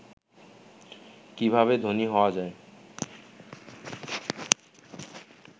কিভাবে ধনী হওয়া যায়